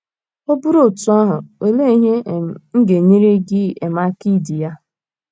Ọ bụrụ otú ahụ, olee ihe um ga - enyere gị um aka idi ya?